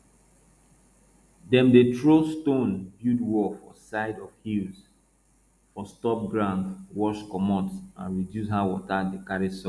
dem dey throw stone build wall for side of hills for stop ground wash commot and reduce how water dey carry soil